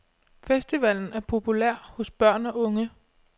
Festivalen er populær hos børn og unge.